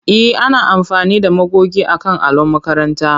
E, ana amfani da magogi akan allon makaranta.